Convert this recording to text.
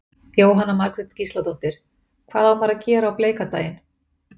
Jóhanna Margrét Gísladóttir: Og hvað á maður að gera á bleika daginn?